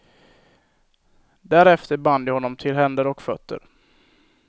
Därefter band de honom till händer och fötter.